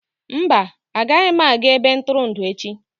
Mba, agaghị m aga ebe ntụrụndụ echi.